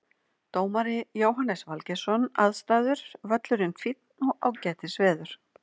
Dómari Jóhannes Valgeirsson Aðstæður Völlurinn fínn og ágætis veður.